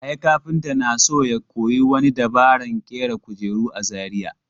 Yahaya kafinta na so ya koyi wani dabaran ƙera kujeru a Zariya.